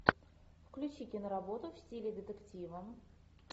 включи киноработу в стиле детектива